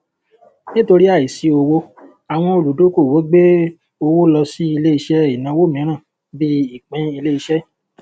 nítorí àìsí owó àwọn olùdókòwò gbé owó lọ sí ilé iṣẹ ìnáwó mìíràn bíi ìpín ilé iṣẹ